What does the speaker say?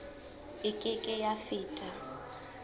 e ke ke ya feta